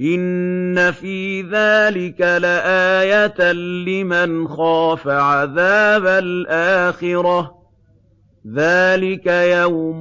إِنَّ فِي ذَٰلِكَ لَآيَةً لِّمَنْ خَافَ عَذَابَ الْآخِرَةِ ۚ ذَٰلِكَ يَوْمٌ